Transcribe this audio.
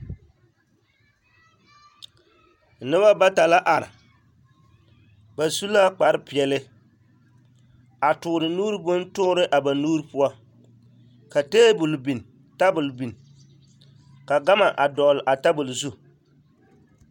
Noba bata la are ba su la kpare peɛle a toore nuuri bontoore a ba nuuri poɔ ka tabol biŋ ka gama a dɔgle a tabol zu.